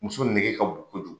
Muso nege ka bon kojugu.